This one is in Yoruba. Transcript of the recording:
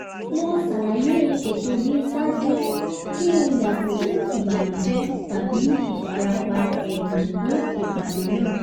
mo ṣàlàyé ètò mi ṣáájú kí n yàgò fún ìbànújẹ tabi ìfarapa ẹ̀mí ní ipàdé náà